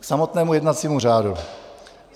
K samotnému jednacímu řádu.